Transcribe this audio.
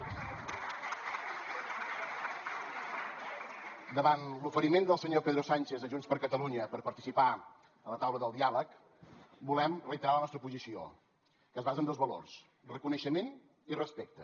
davant l’oferiment del senyor pedro sánchez a junts per catalunya per participar a la taula del diàleg volem reiterar la nostra posició que es basa en dos valors reconeixement i respecte